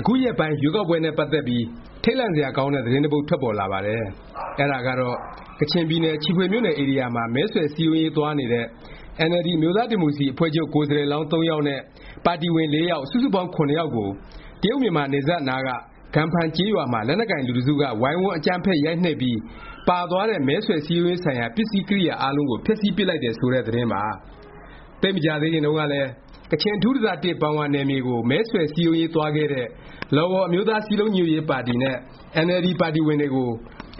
အခုရက်ပိုင်း ရွေးကောက်ပွဲနဲ့ ပတ်သက်ပြီး ထိတ်လန့်စရာကောင်းတဲ့ သတင်းတစ်ပုဒ် ထွက်ပေါ်လာပါတယ်။ အဲဒါကတော့ ကချင်ပြည်နယ် ချီဖွေမြို့နယ် ဧရိယာမှာ မဲဆွယ် စည်းရုံးရေးသွားနေတဲ့ အင်န်အယ်လ်ဒီ အမျိုးသားဒီမိုကရေစီ အဖွဲ့ချုပ် ကိုယ်စားလှယ်လောင်း ၃ ယောက်နဲ့ ပါတီဝင် ၄ ယောက် စုစုပေါင်း ၇ ယောက်ကို တရုတ်-မြန်မာနယ်စပ် အနားက ကမ်ဖန် ကျေးရွာမှာ လက်နက်ကိုင်လူတစ်စုက ဝိုင်းဝန်း အကြမ်းဖက် ရိုက်နှက်ပြီး ပါသွားတဲ့ မဲဆွယ် စည်းရုံးရေးဆိုင်ရာ ပစ္စည်းကရိယာ အားလုံးကို ဖျက်ဆီးပစ်လိုက်တယ် ဆိုတဲ့ သတင်းပါ။ သိပ်မကြာသေးခင်တုန်းကလည်း ကချင် အထူးဒေသ ပန်ဝါနယ်မြေကို မဲဆွယ် စည်းရုံးရေးသွားခဲ့တဲ့ လော်ဝေါ်အမျိုးသား စည်းလုံးညီညွတ်ရေး ပါတီနဲ့ အင်န်အယ်လ်ဒီ ပါတီဝင်တွေကို